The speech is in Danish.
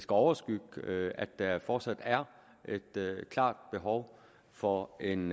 overskygge at at der fortsat er et klart behov for en